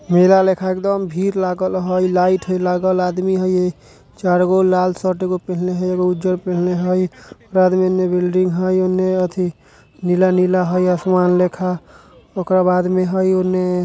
मेला लेखा एकदम भीड़ लागल हई। लाइट हई लागल आदमी हई ई चार गो लाल शर्ट एगो पहनले हई एगो उजर पिन्हले हई। बाद में एने बिल्डिंग हई ओने अथी नीला-नीला हई आसमान लेखा ओकरा बाद में हई ओने---